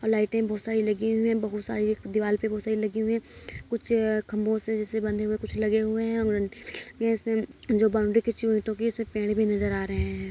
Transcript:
और लाइटे बहुत सारी लगी हुई हैं। बहुत सारी एक दीवाल पे बहुत सारी लगी हुई हैं। कुछ खम्भों से जैसे बंधे हुए कुछ लगे हुए हैं और इसमें जो बाउंड्री खींची हुई उसमें पेड़ भी नज़र आ रहे हैं।